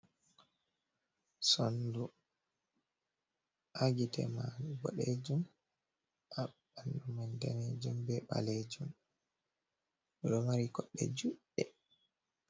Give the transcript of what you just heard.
Sondu, ha gi'ite maaru boɗeejum ha ɓanndu man daneejum bee ɓaleejum ɗo mari koɗɗe juɗɗe.